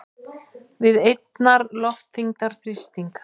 við einnar loftþyngdar þrýsting.